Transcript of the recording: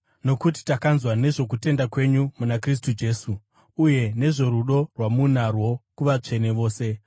nokuti takanzwa nezvokutenda kwenyu muna Kristu Jesu uye nezvorudo rwamunarwo kuvatsvene vose,